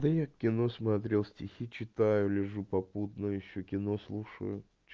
да я кино смотрел стихи читаю лежу попутно ещё кино слушаю